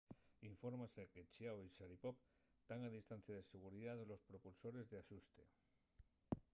infórmase que chiao y sharipov tán a distancia de seguridá de los propulsores d’axuste